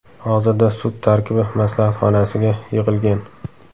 Hozirda sud tarkibi maslahat xonasiga yig‘ilgan.